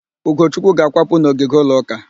Ugochukwu ga-akwapụ n'ogige ụlọ ụka